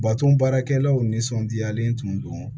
Baton baarakɛlaw nisɔndiyalen tun don